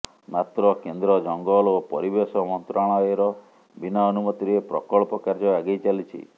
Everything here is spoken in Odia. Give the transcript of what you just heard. ମାତ୍ର କେନ୍ଦ୍ର ଜଙ୍ଗଲ ଓ ପରିବେଶ ମନ୍ତ୍ରାଳୟର ବିନା ଅନୁମତିରେ ପ୍ରକଳ୍ପ କାର୍ଯ୍ୟ ଆଗେଇ ଚାଲିଛି